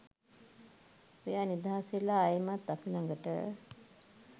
ඔයා නිදහස් වෙලා ආයෙමත් අපි ළඟට